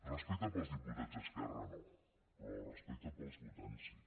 respecte pels diputats d’esquerra no però respecte pels votants sí